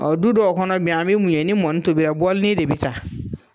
Ɔɔ du dɔw kɔnɔ bi an bi mun ye , ni mɔni tobila bɔlini de bi taa.